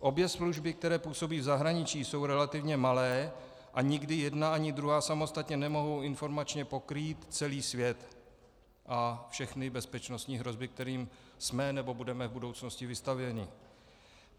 Obě služby, které působí v zahraničí, jsou relativně malé a nikdy jedna ani druhá samostatně nemohou informačně pokrýt celý svět a všechny bezpečnostní hrozby, kterým jsme nebo budeme v budoucnosti vystaveni.